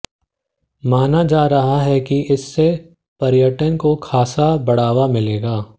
माना जा रहा है कि इससे पर्यटन को खासा बढ़ावा मिलेगा